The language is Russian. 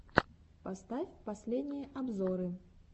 поставь последние обзоры